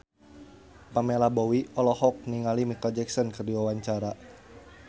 Pamela Bowie olohok ningali Micheal Jackson keur diwawancara